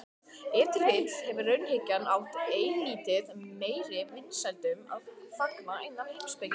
Ef til vill hefur raunhyggjan átt eilítið meiri vinsældum að fagna innan heimspekinnar.